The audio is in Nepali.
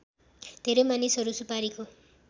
धेरै मानिसहरू सुपारीको